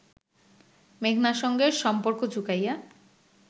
মেঘনার সঙ্গে সম্পর্ক চুকাইয়া